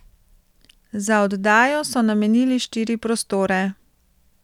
Za oddajo so namenili štiri prostore.